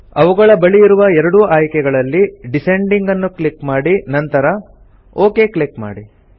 ಅವುಗಳ ಬಳಿ ಇರುವ ಎರಡೂ ಆಯ್ಕೆಗಳಲ್ಲಿ ಡಿಸೆಂಡಿಂಗ್ ನ್ನು ಕ್ಲಿಕ್ ಮಾಡಿ ನಂತರ ಒಕ್ ಕ್ಲಿಕ್ ಮಾಡಿ